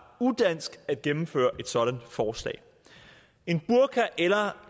udansk at gennemføre et sådant forslag en burka eller